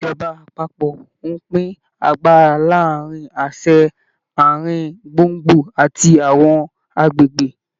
Ìjọba àpapọ̀ ń pín agbára láàrin àṣẹ ààrin gbùngbùn àti àwọn agbègbè.